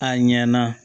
A ɲɛna